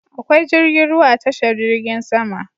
Akwai jirgin ruwa a tashar jirgin sama